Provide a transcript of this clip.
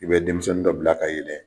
I bɛ denmisɛnnin dɔ bila ka yɛlɛ